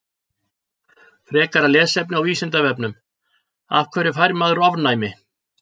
Frekara lesefni á Vísindavefnum: Af hverju fær maður ofnæmi?